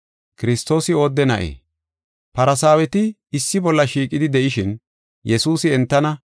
Farsaaweti issi bolla shiiqidi de7ishin, Yesuusi entana,